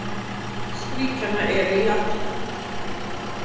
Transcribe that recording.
Flest ríkjanna eru í Afríku.